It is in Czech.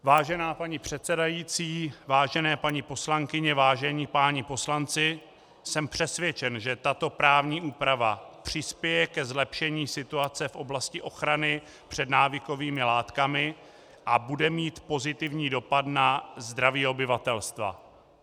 Vážená paní předsedající, vážené paní poslankyně, vážení páni poslanci, jsem přesvědčen, že tato právní úprava přispěje ke zlepšení situace v oblasti ochrany před návykovými látkami a bude mít pozitivní dopad na zdraví obyvatelstva.